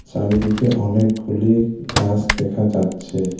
চারিদিকে অনেকগুলি গাস দেখা যাচ্ছে।